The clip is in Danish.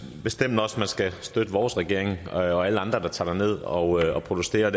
bestemt også at man skal støtte vores regering og alle andre der tager derned og protesterer